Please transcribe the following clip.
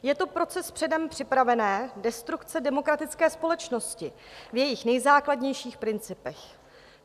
Je to proces předem připravené destrukce demokratické společnosti v jejích nejzákladnějších principech.